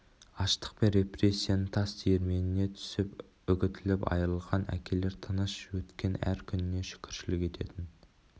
аштық пен репрессияның тас диірменіне түсіп үгітіліп айрылған әкелер тыныш өткен әр күніне шүкіршілік ететін